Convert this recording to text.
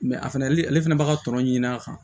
a fɛnɛ ale fɛnɛ b'a ka tɔnɔ ɲin'a kan